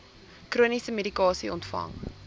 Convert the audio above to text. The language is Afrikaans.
chroniese medikasie ontvang